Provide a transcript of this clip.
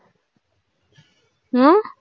ஹம்